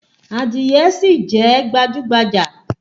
Àdìrẹ sì jẹ́ gbajúgbajà.